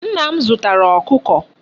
Nna m zutara Okuko